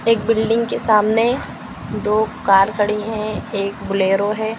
एक बिल्डिंग के सामने दो कार खड़ी हैं एक बोलेरो है।